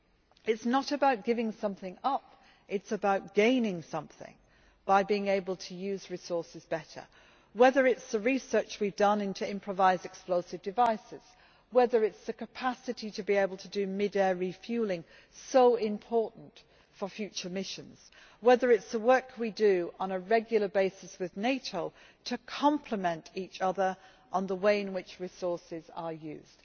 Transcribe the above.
It is not about giving something up, but about gaining something by being able to use resources better, whether it is the research we have done into improvised explosive devices, the ability to do mid air refuelling so important for future missions or the work we do on a regular basis with NATO to complement each other on the way in which resources are used.